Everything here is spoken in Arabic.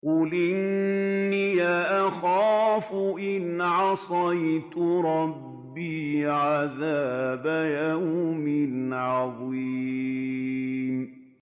قُلْ إِنِّي أَخَافُ إِنْ عَصَيْتُ رَبِّي عَذَابَ يَوْمٍ عَظِيمٍ